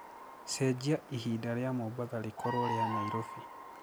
cenjĩa ĩhĩnda rĩa mombatha rikorwo ria nyairobi